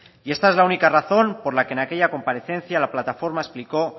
esta es la única razón por la que en aquella comparecencia la plataforma explicó